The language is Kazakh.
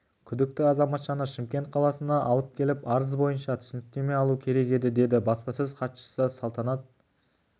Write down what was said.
күдікті азаматшаны шымкент қаласына алып келіп арыз бойынша түсініктеме алу керек еді деді баспасөз хатшысысалтанат